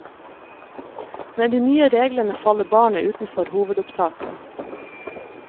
Med de nye reglene faller barnet utenfor hovedopptaket.